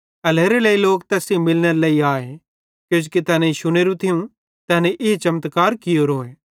एल्हेरेलेइ लोक तैस सेइं मिलनेरे लेइ आए किजोकि तैनेईं शुनोरू थियूं तैनी ई चमत्कार कियोरे